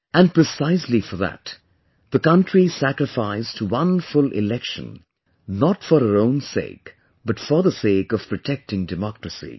And precisely for that, the country sacrificed one full Election, not for her own sake, but for the sake of protecting democracy